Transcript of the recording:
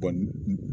Kɔni